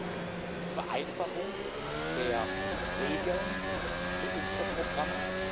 Drittens Vereinfachung der Regeln für unsere Programme.